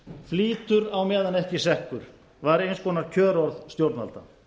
flýtur á meðan ekki sekkur var eins konar kjörorð stjórnvalda